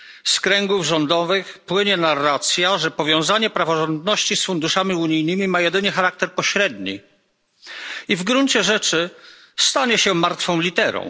Z kręgów rządowych płynie narracja, że powiązanie praworządności z funduszami unijnymi ma jedynie charakter pośredni i w gruncie rzeczy stanie się martwą literą.